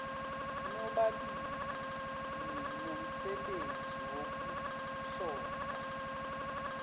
nobabili ninomsebenzi wokuhlonza